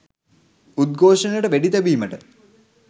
උද්ඝෝෂණයට වෙඩි තැබීමට